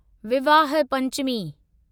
Vivah Panchami